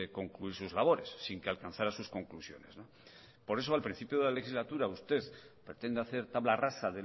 concluir sus labores sin que alcanzara sus conclusiones por eso al principio de la legislatura usted pretende hacer tabla rasa